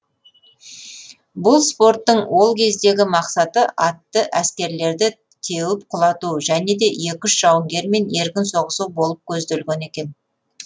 бұл спорттың ол кездегі мақсаты атты әскерлерді теуіп құлату және де екі үш жауынгермен еркін соғысу болып көзделген екен